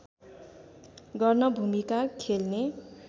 गर्न भूमिका खेल्ने